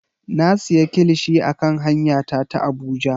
Na siya kilishi a kan hanya ta ta Abuja.